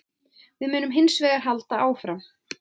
Við munum hins vegar halda áfram